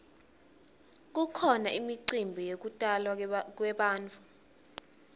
kukhona imicimbi yekutalwa kwebantfu